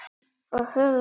Og höfðu betur.